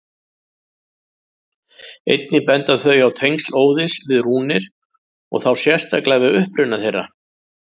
Einnig benda þau á tengsl Óðins við rúnir og þá sérstaklega við uppruna þeirra.